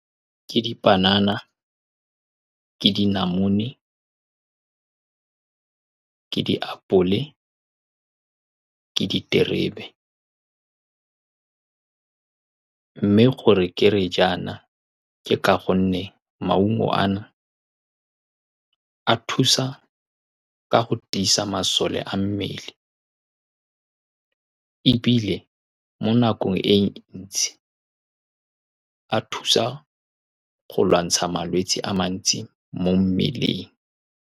Ke dipanana, ke dinamune, ke diapole, ke diterebe, mme gore ke re jaana, ke gore maungo a na a thusa ka go tiisa masole a mmele, ebile mo nakong e ntsi, a thusa go lwantsha malwetsi a mantsi mo mmeleng.